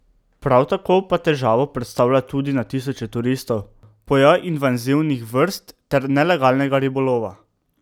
Prav tako pa težavo predstavlja tudi na tisoče turistov, pojav invazivnih vrst ter nelegalnega ribolova.